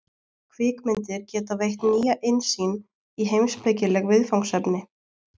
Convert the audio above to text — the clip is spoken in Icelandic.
Kvikmyndir geta veitt nýja innsýn í heimspekileg viðfangsefni.